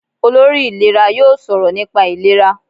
Olórí ìlera yóò sọ̀rọ̀ nípa ìlera.